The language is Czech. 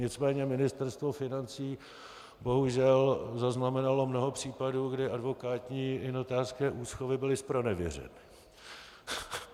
Nicméně Ministerstvo financí bohužel zaznamenalo mnoho případů, kdy advokátní i notářské úschovy byly zpronevěřeny.